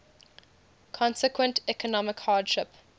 consequent economic hardship